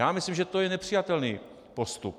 Já myslím, že to je nepřijatelný postup.